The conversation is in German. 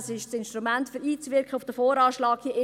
Das ist das Instrument, um auf den VA einzuwirken.